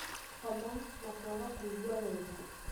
homa, na kwaga kũigua wega.